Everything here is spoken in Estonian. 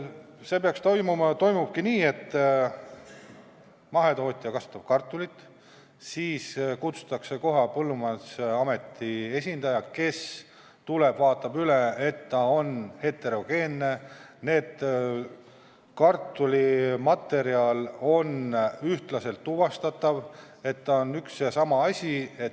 See peaks toimuma ja toimubki nii, et mahetootja kasvatab kartulit, siis kutsutakse kohale Põllumajandusameti esindaja, kes tuleb ja vaatab üle, kas see on heterogeenne, st kas kartuli materjali saab ühtlaselt tuvastada, kas ta on üks ja sama asi.